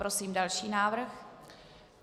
Prosím další návrh.